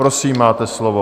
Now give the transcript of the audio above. Prosím, máte slovo.